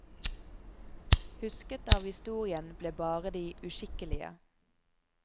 Husket av historien blir bare de uskikkelige.